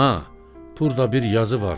Ana, burda bir yazı var.